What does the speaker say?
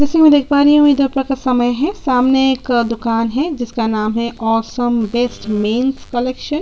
जैसे की में देख पा रही हु है दोपहर का समय है सामने एक दुकान है जिसका नाम है अवेसमे मेंस बेस्ट कलेक्शन --